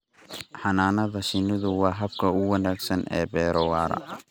Xannaanada shinnidu waa habka ugu wanaagsan ee beero waara.